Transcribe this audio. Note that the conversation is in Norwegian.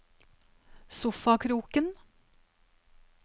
sofakroken